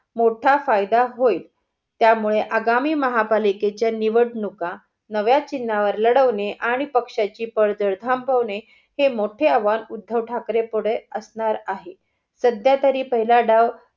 मोठा फायदा होईल. त्यामुळे आगामी महापालिकेच्या निवडणूका नव्या चिन्हावर लढवणे आणि पक्ष्याची पळजड थांबवणे हे मोठे आव्हान उद्धव ठाकरें पुढे असणार आहे. सध्यातरी पहिला डाव